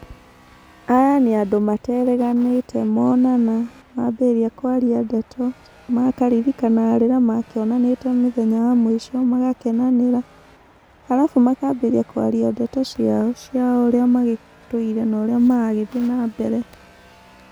Aya nĩ andũ materĩganĩte monana mambĩrĩria kwaria ndeto, makaririkana rĩrĩa makĩonanĩte mĩthenya ya mũico magakenanĩra, arabu makambĩrĩria kwaria ndeto ciao cia ũrĩa magĩtũire no ũrĩa maragĩthiĩ na mbere.